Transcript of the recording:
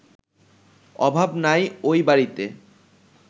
অভাব নাই ওই বাড়িতে